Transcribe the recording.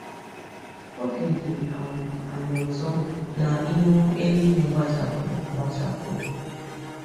Obi dị um anyị ụtọ na ihu eluigwe gbachapụrụ agbachapụ um.